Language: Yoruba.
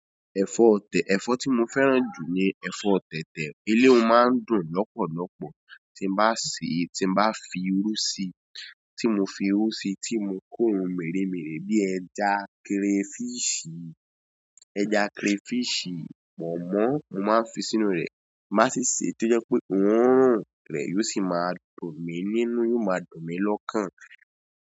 Ẹ̀fọ́ tẹ̀, ẹ̀fọ́ tí mo fẹ́ràn jù ni ẹ̀fọ́ tẹ̀tẹ̀. Elé o máa ń dùn lọ́pọ̀lọ́pọ̀ tí n bá sè é, tí n bá fi irú sí i, tí mo fi irú sí i, tí mo kó ohun mèremère bíi ẹja kerefíìṣì, ẹja kerefíìṣì, pọ̀nmọ́ mo máa ń fi sínú rẹ̀ máa sì sè é tó jẹ́ pé òórùn rẹ̀ yóò sì máa dùn mí nínú, yóò máa dùn mí lọ́kàn.